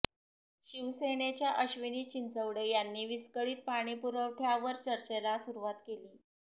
शिवसेनेच्या अश्विनी चिंचवडे यांनी विस्कळीत पाणीपुरवठ्यावर चर्चेला सुरूवात केली